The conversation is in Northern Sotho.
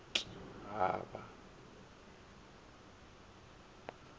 t t a ba a